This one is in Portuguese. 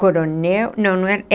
Coronel... Não, não é